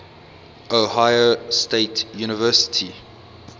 ohio state university